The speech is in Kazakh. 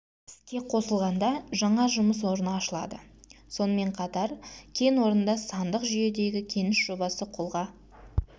іске қосылғанда жаңа жұмыс орны ашылады сонымен қатар кен орнында сандық жүйедегі кеніш жобасы қолға